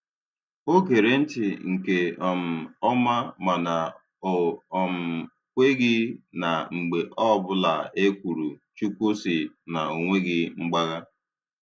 O gere ntị nke um ọma mana o um kweghị na mgbe ọbụla e kwuru "Chukwu sị" na o nweghị mgbagha.